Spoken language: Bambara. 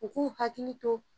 U k'u hakili to